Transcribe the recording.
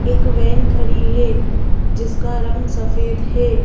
एक वैन खड़ी है जिसका रंग सफेद है।